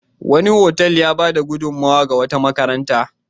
Wani otal ya bayar da gudunmowa ga wata makaranta.